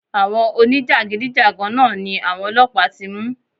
Àwọn oní jàgídíjàgan náà ni àwọn ọlọ́pàá ti mú.